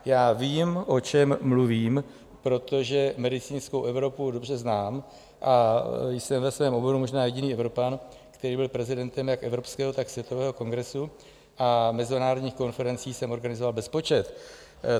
Já vím, o čem mluvím, protože medicínskou Evropu dobře znám a jsem ve svém oboru možná jediný Evropan, který byl prezidentem jak evropského, tak světového kongresu, a mezinárodních konferencí jsem organizoval bezpočet.